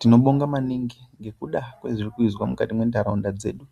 Tinobonga maningi ngekuda kwezvirikuizwa mukati mwentaraunda dzedu .